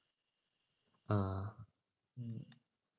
ആഹ്